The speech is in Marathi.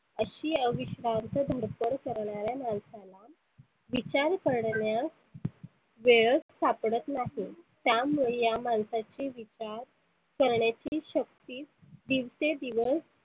अशी अविष्वांत धडपड करणाऱ्या माणसाला विचार करण्यास वेळच सापडत नाही. त्यामुळे या मानसाचे विचार करण्याची शक्ती दिवसेन दिवस